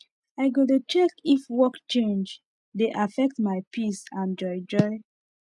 i go dey check if work change dey affect my peace and joy joy